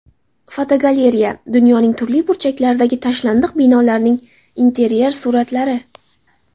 Fotogalereya: Dunyoning turli burchaklaridagi tashlandiq binolarning interyer suratlari.